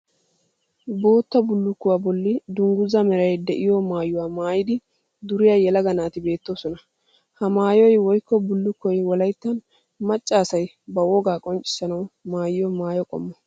Bootta bullukkuwa bolli dungguzaa meray de'iyo maayuwa maayidi duriya yelaga naati beettoosona. Ha maayoyi woyikko bullukkoy wolayittan macca asayi ba wogaa qonccissanawu maayiyo maayo qommo.